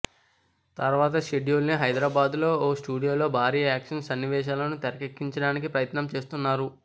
తర్వాత షెడ్యుల్ ని హైదరాబాదులో ఓ స్టూడియోలో భారీ యాక్షన్ సన్నివేశాలను తెరకెక్కించడానికి ప్రయత్నం చేస్తున్నారు